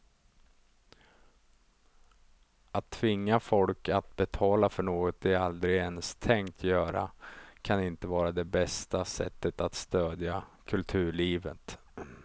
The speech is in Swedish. Att tvinga folk att betala för något de aldrig ens tänkt göra kan inte vara det bästa sättet att stödja kulturlivet.